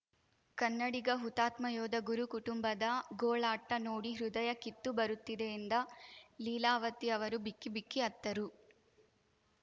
ಕನ್ನಡಿಗ ಹುತಾತ್ಮ ಯೋಧ ಗುರು ಕುಟುಂಬದ ಗೋಳಾಟ ನೋಡಿ ಹೃದಯ ಕಿತ್ತು ಬರುತ್ತಿದೆ ಎಂದ ಲೀಲಾವತಿ ಅವರು ಬಿಕ್ಕಿ ಬಿಕ್ಕಿ ಅತ್ತರು